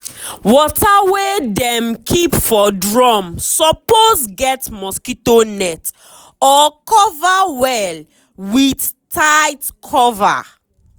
water wey dem keep for drum suppose get mosquito net or cover well with tight cover.